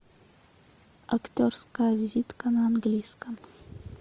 актерская визитка на английском